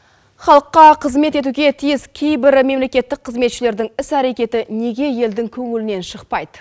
халыққа қызмет етуге тиіс кейбір мемлекеттік қызметшілердің іс әрекеті неге елдің көңілінен шықпайды